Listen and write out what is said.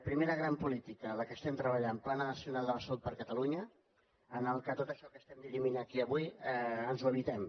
primera gran política la que estem treballant pla nacional de la salut per a catalunya en el qual tot això que estem dirimint aquí avui ens ho evitem